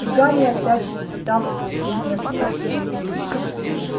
и гарри опять испытал угрызения совести